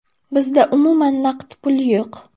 Bizda umuman naqd pul yo‘q.